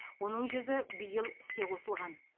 оның жүзі биыл іске қосылған